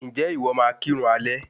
Ǹjẹ́ ìwọ máa kirun alẹ́?